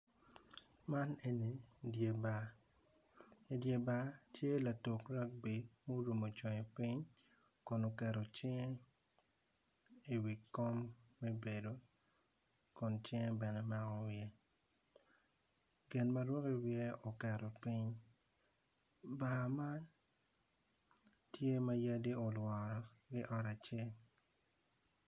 Man eni dye bar i dye bar tye latuk ragby muromo conge piny kun oketo cinge i wi kom me bedo kun cinge bene omako wiye gin ma ruko i wiye oketo piny bar man tye ma yadi olworo.